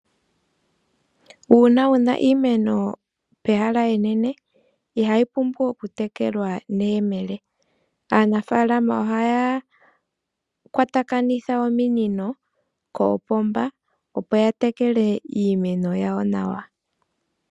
Uuna wuna iimeno pehala enene ihayi pumbu oku tekelwa nemele, aanafalama ohaya kwatakanitha ominino kopomba opo yatekele iimeno yawo nawa.